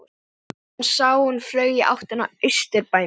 Hann sá að hún flaug í áttina að Austurbænum.